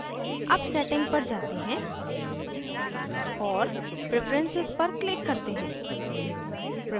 अब setting पर जाते हैं और preferences पर click करते हैं